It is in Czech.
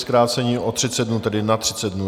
Zkrácení o 30 dnů, tedy na 30 dnů.